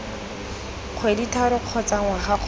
kgwedi tharo kgotsa ngwaga kgotsa